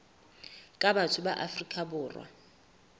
ka batho ba afrika borwa